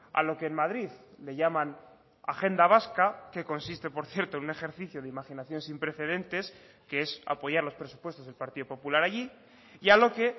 a lo que en madrid le llaman agenda vasca que consiste por cierto en un ejercicio de imaginación sin precedentes que es apoyar los presupuestos del partido popular allí y a lo que